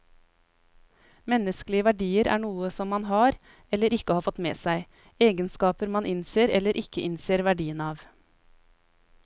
Menneskelige verdier er noe som man har, eller ikke har fått med seg, egenskaper man innser eller ikke innser verdien av.